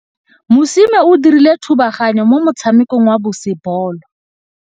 Mosimane o dirile thubaganyô mo motshamekong wa basebôlô.